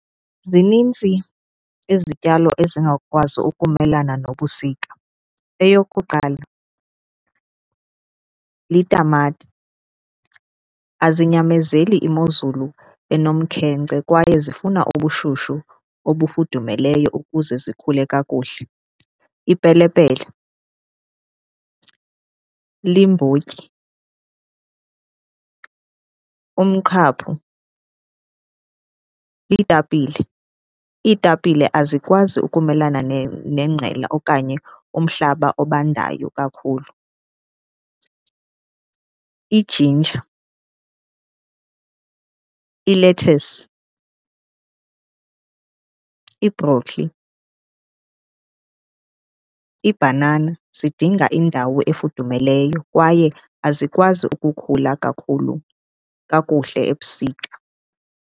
Zinintsi izityalo ezingakwazi ukumelana nobusika. Eyokuqala litamati, azinyamezeli imozulu enomkhenkce kwaye zifuna ubushushu obufudumeleyo ukuze zikhule kakuhle. Ipelepele, limbotyi, umqhaphu, iitapile. Iitapile azikwazi ukumelana nengqela okanye umhlaba obandayo kakhulu. Ijinja, ilethasi, ibrokholi, ibhanana zidinga indawo efudumeleyo kwaye azikwazi ukukhula kakhulu kakuhle ebusika.